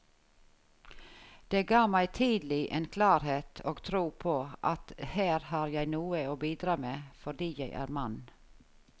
Det ga meg tidlig en klarhet og tro på at her har jeg noe å bidra med fordi jeg er mann.